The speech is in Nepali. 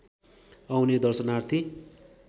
आउने दर्शनार्थी